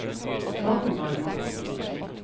Ragnvald Madsen